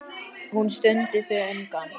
Hún stundi þungan.